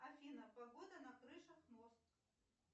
афина погода на крышах мост